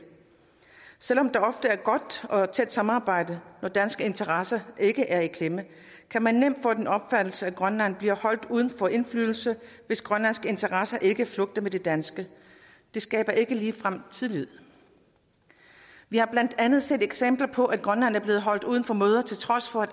selv om der ofte er et godt og tæt samarbejde når danske interesser ikke er i klemme kan man nemt få den opfattelse at grønland bliver holdt uden for indflydelse hvis grønlandske interesser ikke flugter med de danske det skaber ikke ligefrem tillid vi har blandt andet set eksempler på at grønland er blevet holdt uden for møder til trods for at